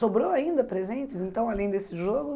Sobrou ainda presentes, então, além desse jogo?